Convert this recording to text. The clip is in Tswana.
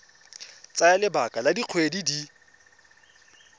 tsaya lebaka la dikgwedi di